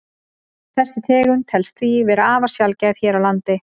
Þessi tegund telst því vera afar sjaldgæf hér á landi.